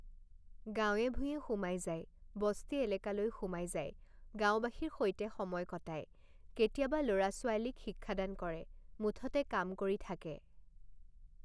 গাঁৱে ভূঁঞে সোমাই যায়, বস্তি এলেকালৈ সোমাই যায়, গাওঁবাসীৰ সৈতে সময় কটায়, কেতিয়াবা ল ৰা ছোৱালীক শিক্ষাদান কৰে, মুঠতে কাম কৰি থাকে।